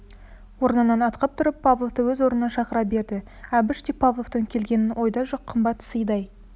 орнынан атқып тұрып павловты өз орнына шақыра берді әбіш те павловтың келгенін ойда жоқ қымбат сыйдай